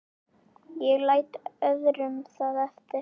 Ég læt öðrum það eftir.